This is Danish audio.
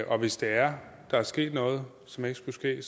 og hvis der er er sket noget som ikke skulle ske